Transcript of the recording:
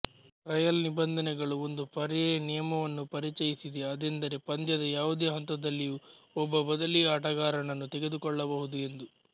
trial ನಿಬಂಧನೆಗಳು ಒಂದು ಪರ್ಯಾಯ ನಿಯಮವನ್ನೂ ಪರಿಚಯಿಸಿದೆ ಅದೆಂದರೆ ಪಂದ್ಯದ ಯಾವುದೇ ಹಂತದಲ್ಲಿಯೂ ಒಬ್ಬ ಬದಲೀ ಆಟಗಾರರನ್ನು ತೆಗೆದುಕೊಳ್ಳಬಹುದು ಎಂದು